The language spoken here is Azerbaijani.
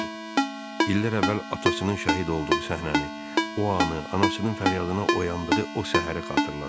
İllər əvvəl atasının şəhid olduğu səhnəni, o anı, anasının fəryadına oyandığı o səhəri xatırladı.